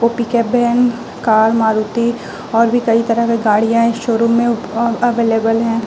वो pickup van car Maruti और भी कई तरह की गाड़ियां हैं इस शोरूम में। उप अवेलेबल हैं।